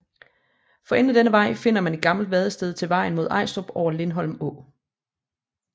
For enden af denne vej finder man et gammelt vadested til vejen mod Ajstrup over Lindholm Å